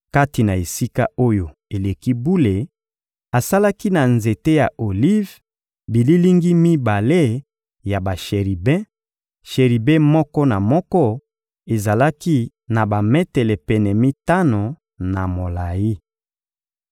Kati na Esika-Oyo-Eleki-Bule, asalaki na nzete ya olive bililingi mibale ya basheribe: sheribe moko na moko ezalaki na bametele pene mitano na molayi.